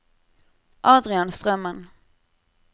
Adrian Strømmen